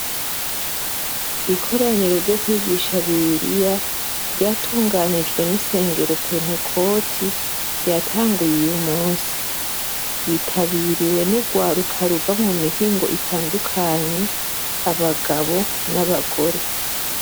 Ikoraniro ryo kwigisha bibiriya ryatunganijwe nisengero penecoti ryatanguye uyu munsi ryitabiriye nurwaruka ruva mumihingo itandukanye abagabo nabagore